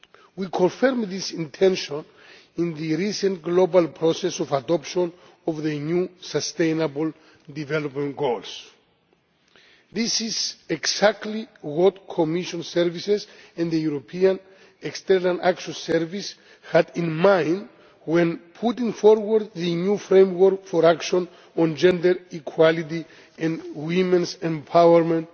We confirmed this intention in the recent global process of adoption of the new Sustainable Development Goals. This is exactly what the Commission's services and the European External Action Service had in mind when putting forward the new framework for action on Gender Equality and Women's Empowerment